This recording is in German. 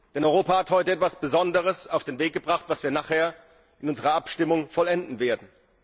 Denn Europa hat heute etwas Besonderes auf den Weg gebracht, das wir nachher in unserer Abstimmung vollenden werden.